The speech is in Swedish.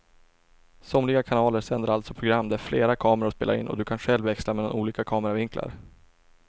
Somliga kanaler sänder alltså program där flera kameror spelar in och du kan själv växla mellan olika kameravinklar.